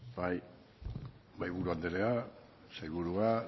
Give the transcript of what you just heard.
bai mahaiburu andrea sailburua